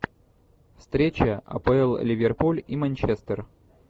встреча апл ливерпуль и манчестер